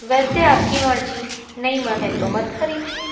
वैसे आपकी मर्जी नहीं मन है तो मत खरीदिए।